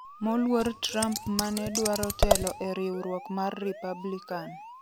Moluor Trump ma ne dwaro telo e riwruok ma Republican